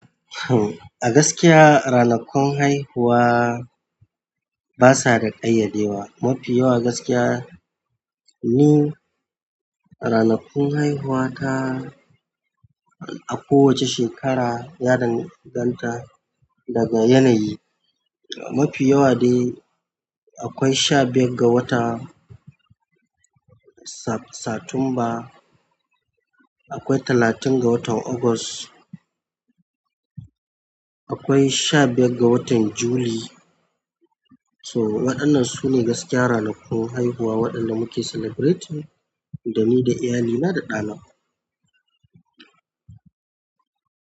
A gaskiya ranakun haihuwa basa da ƙayyadewa. Mafi yawa gaskiya ni ranakun haihuwa ta a kowace shekara ya danganta daga yanayi. Mafi yawa dai akwai sha biyar ga watan Satumba, akwai talatin ga watan Ogos, akwai sha biyar ga watan Juli. To waɗannan sune gaskiya ranakun haihuwa waɗanda mu ke celebrating da ni da iyali na da ɗana.